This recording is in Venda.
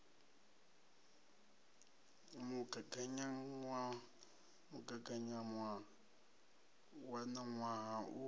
mugaganyagwama mugaganyagwama wa ṋaṅwaha u